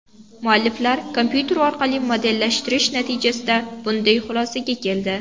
Mualliflar kompyuter orqali modellashtirish natijasida bunday xulosaga keldi.